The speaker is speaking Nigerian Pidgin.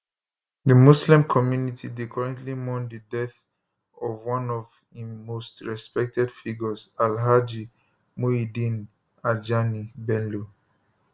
di muslim community dey currently mourn di death of one of im most respected figures alhaji muyideen ajani bello